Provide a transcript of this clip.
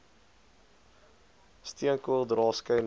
steenkool dra skynbaar